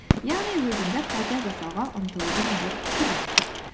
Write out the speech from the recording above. яғни өзіңді қайта жасауға ұмтылудың бір түрі